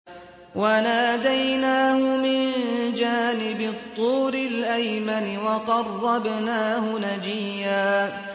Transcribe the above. وَنَادَيْنَاهُ مِن جَانِبِ الطُّورِ الْأَيْمَنِ وَقَرَّبْنَاهُ نَجِيًّا